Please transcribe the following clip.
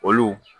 Olu